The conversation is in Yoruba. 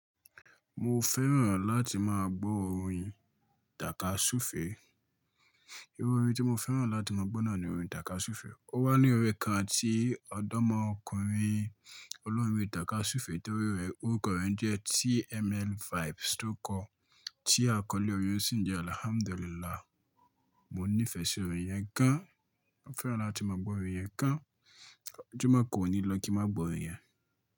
Mo fẹ́ràn láti máa gbọ́ orin takasufe. Iru orin tí mo fẹ́ràn láti máa gbọ́ náà ni orin takasufe. Ó wà ní orin kan tí ọ̀dọ́mọkùnrin olórin takasufe to orúkọ rẹ ń jẹ́ TML vibes tó kọ ti akọ́lé orin yẹn sì ń jẹ́ Alhamdulilah. Mo nífẹ̀ẹ́ sí orin yẹn gan, mo fẹ́ràn láti máa gbọ́ orin yẹn gan. Ojúmọ̀ kan ò ní lọ kí máa gbọ́ orin yẹn.